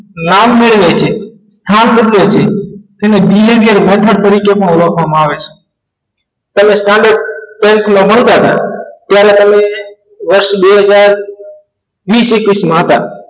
રામને ઓળખવામાં behaviour આવે છે માંગતા હતા ત્યારે તેમને વર્ષ બે બેહજાર્વીસ એક્વીસ માં હતા